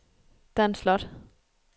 Dan Slot